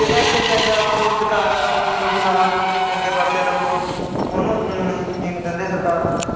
ਜਿਹੜਾ ਇੱਥੇ ਚੰਗਾ ਪ੍ਰੇਰਿਤ ਕਰਦਾ ਹੈਗਾ ਦੁਨੀਆਂ ਨੂੰ ਬਈ ਹਾਂ ਬਈ ਚੰਗੇ ਪਾਸੇ ਲੱਗੋ ਉਹਨੂੰ ਊਂ ਨਹੀਂ ਜੀਣ ਦਿੰਦੇ ਸਰਕਾਰ